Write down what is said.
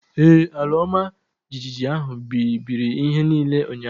Ee, ala ọma jijiji ahụ bibiri ihe niile ụnyaahụ